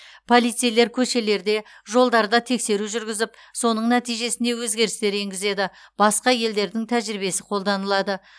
полицейлер көшелерде жолдарда тексеру жүргізіп соның нәтижесінде өзгерістер енгізеді басқа елдердің тәжірибесі қолданылады